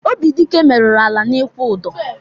Obidịke meruru ala n'ikwu ụdọ.